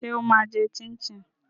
Ṣé ó máa jẹ chin chin?